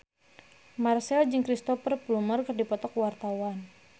Marchell jeung Cristhoper Plumer keur dipoto ku wartawan